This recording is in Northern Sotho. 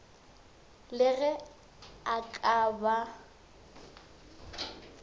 le ge a ka ba